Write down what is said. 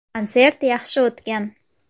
Konsert yaxshi o‘tgan.